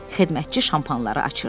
Xidmətçi şampanları açırdı.